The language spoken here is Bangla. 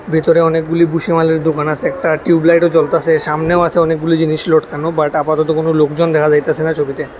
ভেতরে অনেকগুলি বুসিমালের দোকান আছে একটা টিউবলাইটও জ্বলতাছে সামনেও আছে অনেকগুলি জিনিস লটকানো বাট আপাতত কোন লোকজন দেখা যাইতাছে না ছবিতে।